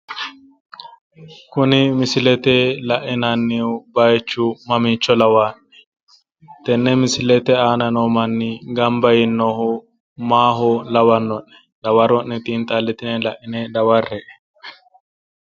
Kuni misilete lainannihu baayiichu mamiicho lawaa'ne? tenne misilete aana noo manni gamba yiinohu maaho labbanno'ne? dawaronne xinxallitine daware'e.